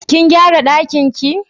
Kin gyara ɗakin ki?